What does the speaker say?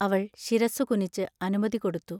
അവൾ ശിരസ്സു കുനിച്ച് അനുമതി കൊടുത്തു.